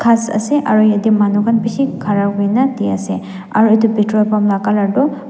ghas ase aro yatae manu khan bishi khara kurina diase aro edu petrol pump la colour toh.